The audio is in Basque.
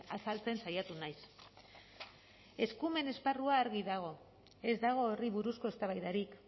azaltzen saiatu naiz eskumen esparrua argi dago ez dago horri buruzko eztabaidarik